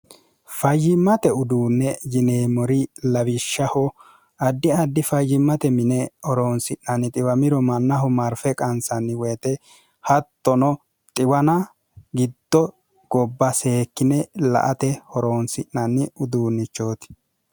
fayyimmate uduunne jineemori lawishshaho addi addi fayyimmate mine horoonsi'nanni xiwamiro mannaho marfe qansanni woyite hattono xiwana gitto gobba seekkine la ate horoonsi'nanni uduunnichooti